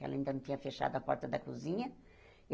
Ela ainda não tinha fechado a porta da cozinha.